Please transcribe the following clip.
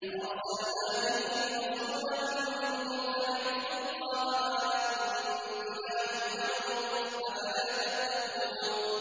فَأَرْسَلْنَا فِيهِمْ رَسُولًا مِّنْهُمْ أَنِ اعْبُدُوا اللَّهَ مَا لَكُم مِّنْ إِلَٰهٍ غَيْرُهُ ۖ أَفَلَا تَتَّقُونَ